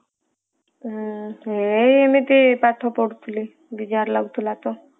ହୁଁ ଏ ଏମିତି ପାଠ ପଢୁଥିଲି ବିଜାର ଲାଗୁଥିଲା ତ